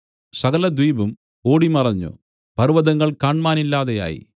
സകലദ്വീപും ഓടി മറഞ്ഞു പർവ്വതങ്ങൾ കാണ്മാനില്ലാതെയായി